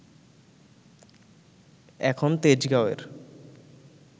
এখন তেজগাঁওয়ের